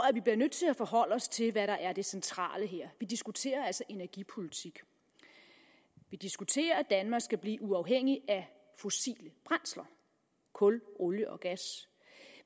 at vi bliver nødt til at forholde os til hvad der er det centrale her vi diskuterer altså energipolitik vi diskuterer at danmark skal blive uafhængig af fossile brændsler kul olie og gas